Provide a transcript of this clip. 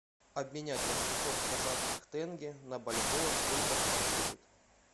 обменять восемьсот казахских тенге на бальбоа сколько это будет